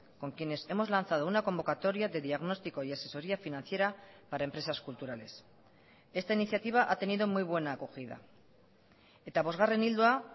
con quienes hemos lanzado una convocatoria de diagnóstico y asesoría financiera para empresas culturales esta iniciativa ha tenido muy buena acogida eta bosgarren ildoa